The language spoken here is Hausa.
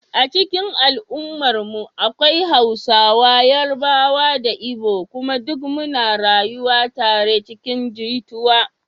A cikin al’ummarmu akwai Hausawa, Yarbawa da Igbo kuma duk muna rayuwa tare cikin jituwa.